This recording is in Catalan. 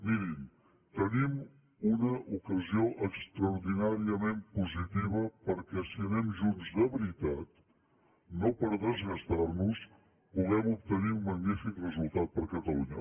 mirin tenim una ocasió extraordinàriament positiva perquè si anem junts de veritat no per desgastar nos puguem obtenir un magnífic resultat per a catalunya